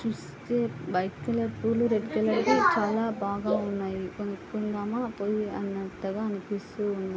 చూస్తే white colour పూలు red colour వి చాలా బాగా ఉన్నాయి. కొనుకుందామా పొయ్యి అన్నంతగా అనిపిస్తుంది.